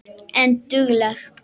En dugleg.